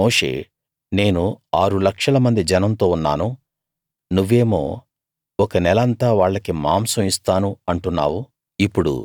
దానికి మోషే నేను ఆరు లక్షలమంది జనంతో ఉన్నాను నువ్వేమో ఒక నెల అంతా వాళ్లకి మాంసం ఇస్తాను అంటున్నావు